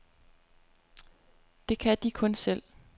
Det kan de kun selv.